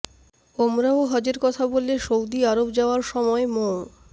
ওমরাহ হজের কথা বলে সৌদি আরব যাওয়ার সময় মো